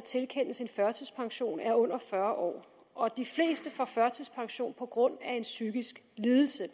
tilkendes en førtidspension er under fyrre år og de fleste får førtidspension på grund af en psykisk lidelse